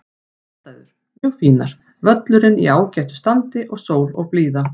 Aðstæður: Mjög fínar, völlurinn í ágætu standi og sól og blíða.